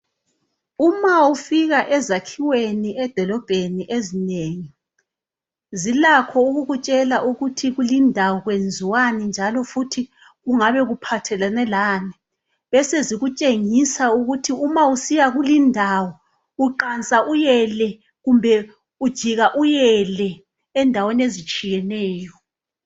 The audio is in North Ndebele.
Uma ufika ezakhiweni edolobheni ezinengi zilakho ukukutshela ukuthi kulindawo kwenziwani njalo futhi kungabe kuphathelane lani besezikutshengisa ukuthi uma usiya kulindawo uqansa uyele kumbe ujika uyele endaweni ezitshiyeneyo.